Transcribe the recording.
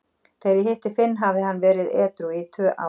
Þegar ég hitti Finn hafði hann verið edrú í tvö ár.